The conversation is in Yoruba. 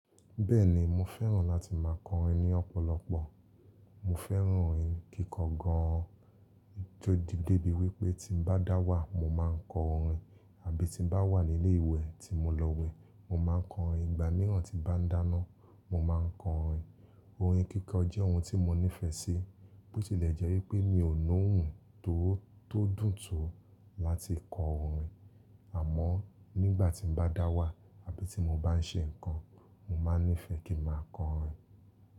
Bẹ́ẹ̀ni mo fẹ́ràn láti máa kọrin ní ọ̀pọ̀lọpọ̀. Mo fẹ́ràn orin kíkọ gan an, ó ti dé bí wí pé tí n bá dá wà mo máa ń kọ orin àbí tí n bá wà ní ilé ìwẹ̀ tí mo lọ wẹ̀, mo máa nkọ orin. Ìgbà mìíràn tí bá ń dáná, mo máa ń kọ orin. Orin kíkọ jẹ́ ohun tí mo nífẹ̀ẹ́ sí, bó tilẹ̀ jẹ́ wí pé mi ò ló ohun tó dùn tó láti kọ orin. Àmọ́ nígbàtí n bá dá wà àbí tí mo bá ń ṣe nǹkan, mo máa nífẹ̀ẹ́ kí n máa kọ orin.